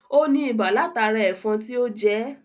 Ó ní ibà látara ẹ̀fọn tí ó jẹ́